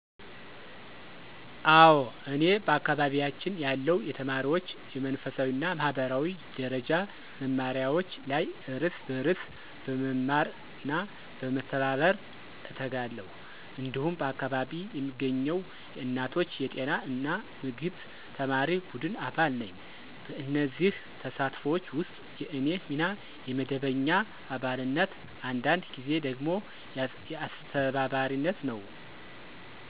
አዎ፤ እኔ በአካባቢያችን ያለው የተማሪዎች የመንፈሳዊ እና ማህበራዊ ደረጃ መማሪያዎች ላይ እርስ በርስ በመማርና በመተባበር እተጋለሁ። እንዲሁም በአካባቢ የሚገኘው የእናቶች የጤና እና ምግብ ተማሪ ቡድን አባል ነኝ። በእነዚህ ተሳትፎች ውስጥ የእኔ ሚና የመደበኛ አባልነት፣ አንዳንድ ጊዜ ደግሞ የአስተባባሪነት ነው።